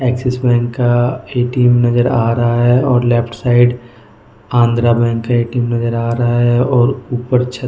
axis bank का ए.टी.एम नजर आ रहा है और लेफ्ट साइड आंध्र बैंक का ए.टी.एम नजर आ रहा है और ऊपर छत --